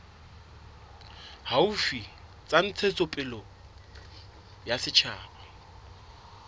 haufi tsa ntshetsopele ya setjhaba